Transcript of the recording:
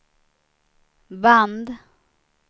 band